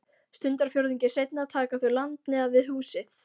Stundarfjórðungi seinna taka þau land neðan við húsið.